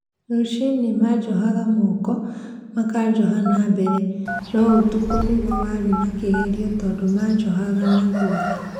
Rũci-inĩ manjohaga Moko, makanjoha na mbere, noũtukũ nĩguo warĩ na kĩgerio tondũ manjohaga na thutha